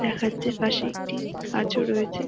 দেখা যাচ্ছে পাশে একটি গাছও রয়েছে |